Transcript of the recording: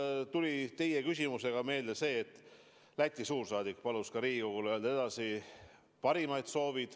Mul tuli teie küsimuse peale meelde see, et Läti suursaadik palus Riigikogule edasi öelda parimaid soovid.